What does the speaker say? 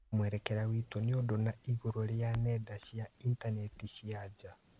Mwerekera witũ nĩũndũ na igũrũ rĩa nenda cia intaneti cia nja